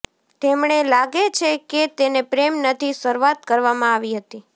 તેમણે લાગે છે કે તેને પ્રેમ નથી શરૂઆત કરવામાં આવી હતી